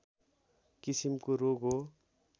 किसिमको रोग हो